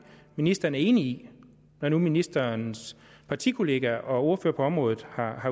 ministeren er enig i når nu ministerens partikollega og ordfører på området har